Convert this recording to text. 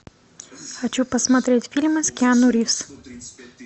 хочу посмотреть фильмы с киану ривз